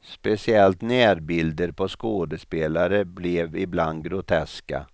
Speciellt närbilder på skådespelare blev ibland groteska,